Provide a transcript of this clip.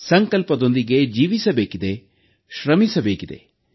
ಸಂಕಲ್ಪದೊಂದಿಗೆ ಬದುಕಬೇಕಿದೆ ಶ್ರಮಿಸಬೇಕಿದೆ